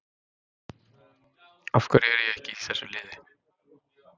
Af hverju er ég ekki í þessu liði?